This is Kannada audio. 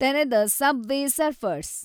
ತೆರೆದ ಸಬ್ವೇ ಸರ್ಫರ್ಸ್